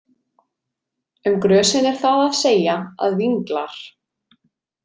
Um grösin er það að segja að vinglar.